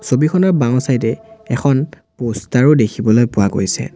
ছবিখনৰ বাওঁ চাইড এ এখন পষ্টাৰ ও দেখিবলৈ পোৱা গৈছে।